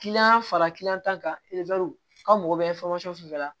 fara kilan tan kan aw mago bɛ fɛn fɛn la